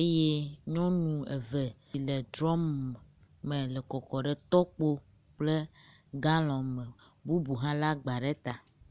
eye nyɔnu eve yi le drɔm me le kɔkɔm ɖe tɔkpo kple galɔn me bubu hã le agba ɖe ta.